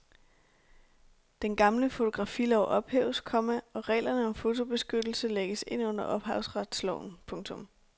Den gamle fotografilov ophæves, komma og reglerne om fotobeskyttelse lægges ind under ophavsretsloven. punktum